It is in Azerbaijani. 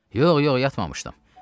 Yox, yox, yatmamışdım.